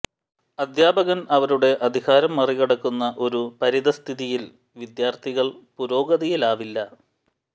അധ്യാപകൻ അവരുടെ അധികാരം മറികടക്കുന്ന ഒരു പരിതഃസ്ഥിതിയിൽ വിദ്യാർത്ഥികൾ പുരോഗതിയിലാവില്ല